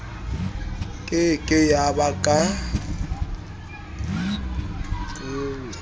ke ke ya ba ka